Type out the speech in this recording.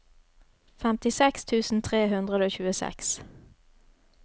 femtiseks tusen tre hundre og tjueseks